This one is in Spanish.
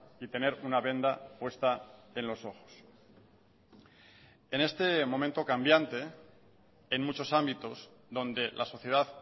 y tener una venda puesta en los ojos en este momento cambiante en muchos ámbitos donde la sociedad